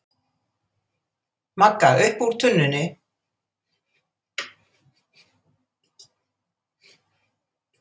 Magga upp úr tunnunni.